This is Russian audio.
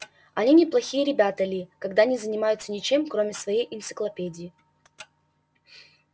они неплохие ребята ли когда не занимаются ничем кроме своей энциклопедии